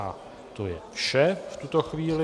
A to je vše v tuto chvíli.